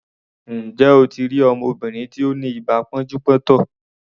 Ǹjẹ́ o ti rí ọmọbìnrin tí ó ni ibà pọ́njú-pọ́ntọ̀?